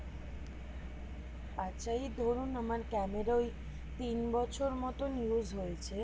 আচ্ছা এই ধরুন আমার ক্যামেরা ঐ তিন বছর মত use হয়েছে